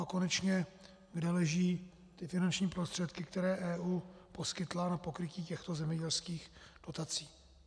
A konečně, kde leží ty finanční prostředky, které EU poskytla na pokrytí těchto zemědělských dotací.